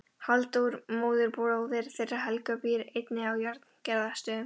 Halldór móðurbróðir þeirra Helga býr einnig að Járngerðarstöðum.